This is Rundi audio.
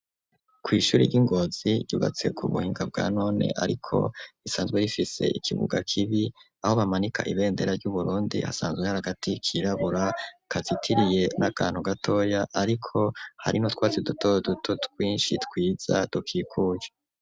Kw'ishuri ry'i Ngozi, ryubatse ku buhinga, bwa none, ariko risanzwe rifise, ikibuga kibi; aho bamanika, ibendera ry'Uburundi, hasanzwe hari, agati kirabura, kazitiriye n'akantu gatoya, ariko hari n'utwatsi duto duto, twinshi twiza, dukikuje.